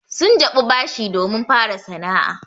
Sun jaɓi bashi domin fara sana'a.